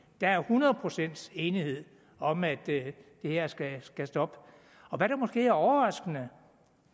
der er hundrede procents enighed om at det her skal skal stoppe og hvad der måske er overraskende